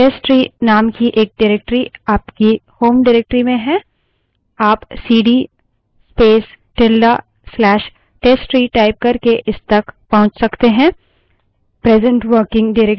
तो कहें आपके पास testtree name की एक directory आपकी home directory में है आप cd space tilde slash testtree type करके इस तक पहुँच सकते हैं